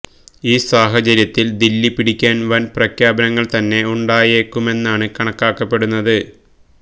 ഈ സാഹചര്യത്തില് ദില്ലി പിടിക്കാന് വന് പ്രഖ്യാപനങ്ങള് തന്നെ ഉണ്ടായേക്കുമെന്നാണ് കണക്കാക്കപ്പെടുന്നത്